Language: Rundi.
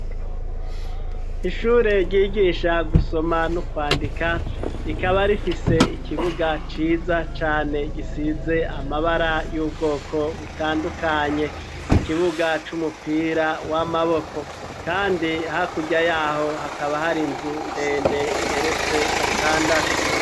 Ishure ryigisha gusoma no kwandika rikaba rifise ikibuga ciza cane gisize amabara y'ubwoko butandukanye ikibuga c'umupira w'amaboko kandi hakurya yaho hakaba hari inzu ndende igeretse gatandatu.